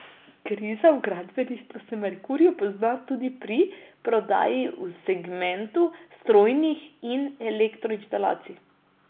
Kriza v gradbeništvu se Merkurju pozna tudi pri prodaji v segmentu strojnih in elektroinštalacij.